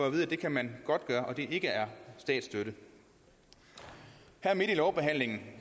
at vide at det kan man godt gøre altså at det ikke er statsstøtte her midt i lovbehandlingen